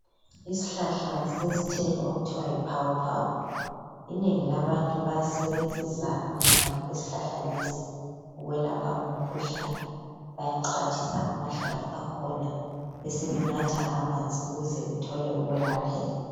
Isihlahla sesithelo okuthiwa yiphawu-phawu. Inengi labantu bayasebenzisa amahlamvu ezihlahla lesi ukwelapha umkhuhlane. Bayaxhwathisa amahlamvu akhon besebenatha amanzi ukuze bethole ukwelapheka.